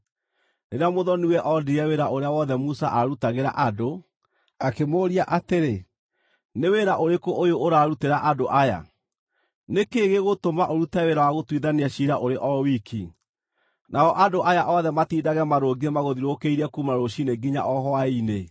Rĩrĩa mũthoni-we onire wĩra ũrĩa wothe Musa aarutagĩra andũ, akĩmũũria atĩrĩ, “Nĩ wĩra ũrĩkũ ũyũ ũrarutĩra andũ aya? Nĩ kĩĩ gĩgũtũma ũrute wĩra wa gũtuithania ciira ũrĩ o wiki, nao andũ aya othe matindage marũngiĩ magũthiũrũrũkĩirie kuuma rũciinĩ nginya o hwaĩ-inĩ?”